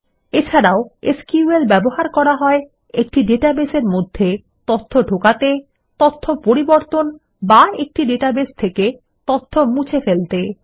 SQL এর ব্যবহার করা যেতে পারে একটি ডাটাবেসের মধ্যে তথ্য ঢোকাতে তথ্য পরিবর্তন বা একটি ডাটাবেস থেকে তথ্য মুছে ফেলতে